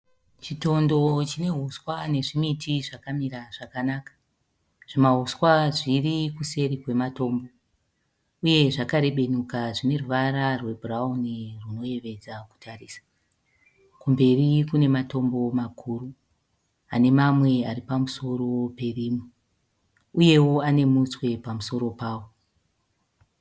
Chitondo chine huswa nezvimiti zvakamira zvakanaka. Zvimahuswa zviri kuseri kwematombo uye zvakarebenuka zvine ruvara rwebhurawuni rwunoyevedza kutarisa. Kumberi kune matombo makuru ane mamwe ari pamusoro perimwe uyewo ane mutswe pamusoro pawo.